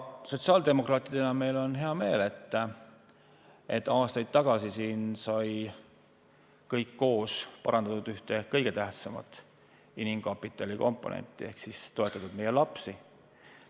Sotsiaaldemokraatidena on meil hea meel, et aastaid tagasi sai siin kõik koos parandatud ühte kõige tähtsamat inimkapitali komponenti ehk sai toetatud meie lapsi.